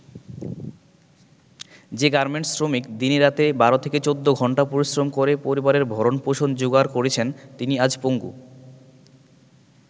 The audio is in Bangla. যে গার্মেন্টস শ্রমিক দিনে-রাতে ১২-১৪ ঘন্টা পরিশ্রম করে পরিবারের ভরণ-পোষণ জোগাড় করেছেন, তিনি আজ পঙ্গু।